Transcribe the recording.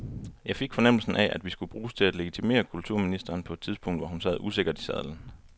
Jeg fik fornemmelsen af, at vi skulle bruges til at legitimere kulturministeren på et tidspunkt, hvor hun sad usikkert i sadlen.